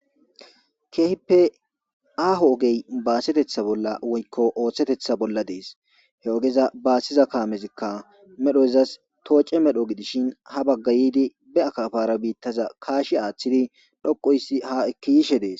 keehippe aaho ogey baasetetha bolla woykko ooththetetha bolla dees he ogeza baassiza kaamezikka medhoyzas tooce medho gidishin ha baggayidi be akafara biittaza kaashi aaththidi dhoqoysi ha ekkiyishe dees